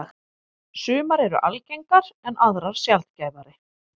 Sumar eru algengar en aðrar sjaldgæfari.